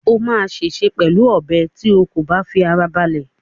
O máa ṣèṣe pẹ̀lú ọ̀bẹ tí o kò bá fi ara balẹ̀